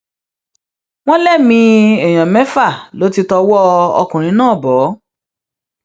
wọn lẹmìí èèyàn mẹfà ló ti tọwọ ọkùnrin náà bọ